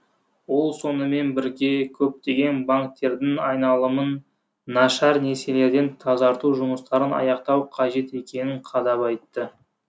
ол сонымен бірге көптеген банктердің айналымын нашар несиелерден тазарту жұмыстарын аяқтау қажет екенің қадап айтты